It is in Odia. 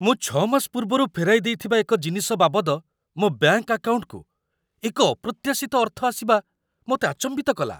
ମୁଁ ୬ ମାସ ପୂର୍ବରୁ ଫେରାଇଦେଇଥିବା ଏକ ଜିନିଷ ବାବଦ ମୋ ବ୍ୟାଙ୍କ ଆକାଉଣ୍ଟକୁ ଏକ ଅପ୍ରତ୍ୟାଶିତ ଅର୍ଥ ଆସିବା ମୋତେ ଆଚମ୍ବିତ କଲା।